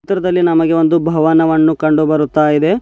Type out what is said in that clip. ಚಿತ್ರದಲ್ಲಿ ನಮಗೆ ಒಂದು ಭವನವನ್ನು ಕಂಡು ಬರುತಾ ಇದೆ.